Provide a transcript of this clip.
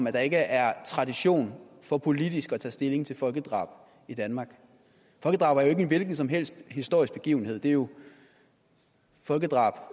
at der ikke er tradition for politisk at tage stilling til folkedrab i danmark folkedrab er ikke en hvilken som helst historisk begivenhed det er jo folkedrab